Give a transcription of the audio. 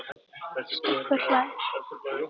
Stubbur hlær.